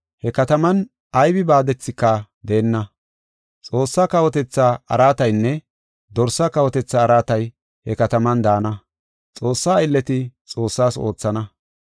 He kataman aybi baadethika deenna. Xoossaa kawotetha araataynne Dorsaa kawotetha araatay he kataman daana. Xoossaa aylleti Xoossaas oothana.